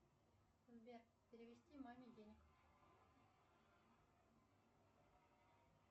сбер перевести маме денег